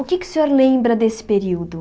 O que é que o senhor lembra desse período?